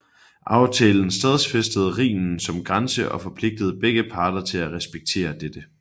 Aftalen stadfæstede Rhinen som grænse og forpligtede begge parter til at respektere dette